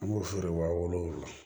An b'o feere wa wolo